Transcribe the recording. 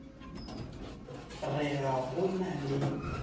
re ga go na le